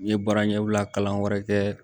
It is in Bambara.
N ye baara ɲɛbila kalan wɛrɛ kɛ